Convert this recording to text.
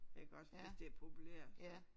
Iggås hvis det er populært så